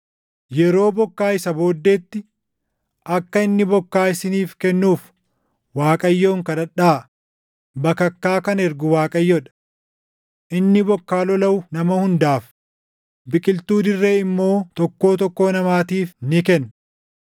Yeroo bokkaa isa booddeetti akka inni bokkaa isiniif kennuuf // Waaqayyoon kadhadhaa; bakakkaa kan ergu Waaqayyoo dha. Inni bokkaa lolaʼu nama hundaaf, biqiltuu dirree immoo tokkoo tokkoo namaatiif ni kenna.